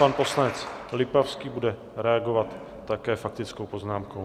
Pan poslanec Lipavský bude reagovat také faktickou poznámkou.